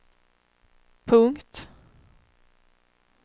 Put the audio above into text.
punkt